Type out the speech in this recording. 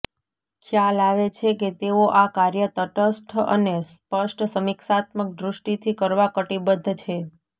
ખ્યાલ આવે છે કે તેઓ આ કાર્ય તટસ્થ અને સ્પષ્ટ સમીક્ષાત્મક દૃષ્ટિથી કરવા કટિબદ્ધ છે